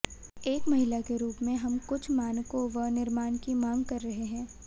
एक महिला के रूप में हम कुछ मानकों व निर्माण की मांग कर रहे हैं